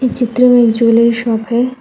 चित्र में एक ज्वैलरी शॉप है।